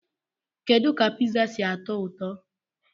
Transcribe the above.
Kedu ka Pizza si atọ ụtọ?